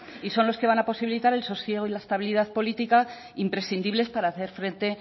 y son los que van a posibilitar el sosiego y la estabilidad política imprescindibles para hacer frente